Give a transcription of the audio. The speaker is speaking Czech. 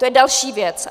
To je další věc.